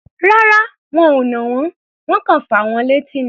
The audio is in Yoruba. Rárá, wọn ò nà wọ́n. Wọ́n kọ̀ fà wọ́n létí ni.